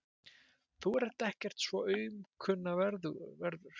Þú ert ekkert svo aumkunarverður.